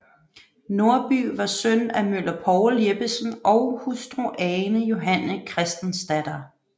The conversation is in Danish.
Nordby var søn af møller Poul Jeppesen og hustru Ane Johanne Christensdatter